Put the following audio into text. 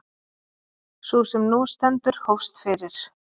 Sú sem nú stendur hófst fyrir